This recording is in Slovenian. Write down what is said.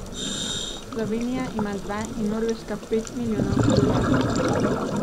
Slovenija ima dva in Norveška pet milijonov prebivalcev.